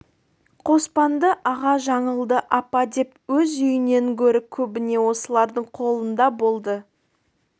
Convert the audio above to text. қоспанды аға жаңылды апа деп өз үйінен гөрі көбіне осылардың қолында болды